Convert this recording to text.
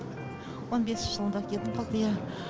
он бесінші жылында кетіп қалды иә